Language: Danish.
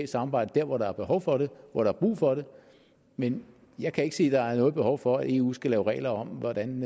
samarbejde der hvor der er behov for det hvor der er brug for det men jeg kan ikke se at der er noget behov for at eu skal lave regler om hvordan